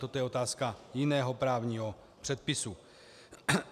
Toto je otázka jiného právního předpisu.